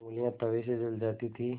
ऊँगलियाँ तवे से जल जाती थीं